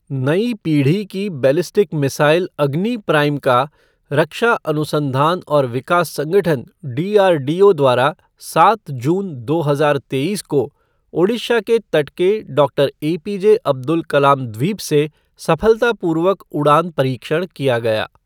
नई पीढ़ी की बैलिस्टिक मिसाइल अग्नि प्राइम का रक्षा अनुसंधान और विकास संगठन डीआरडीओ द्वारा सात जून, दो हजार तेईस को ओडिशा के तट के डॉक्टर एपीजे अब्दुल कलाम द्वीप से सफलतापूर्वक उड़ान परीक्षण किया गया।